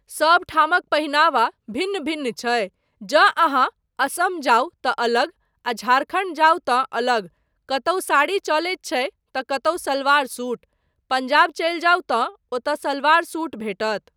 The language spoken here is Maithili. सबठामक पहिनावा भिन्न भिन्न छै, जँ अहाँ असम जाउ तँ अलग आ झारखण्ड जाउ तँ अलग, कतहुँ साड़ी चलैत छै तँ कतहुँ सलवार सूट, पंजाब चलि जाउ तँ ओतय सलवार सूट भेटत।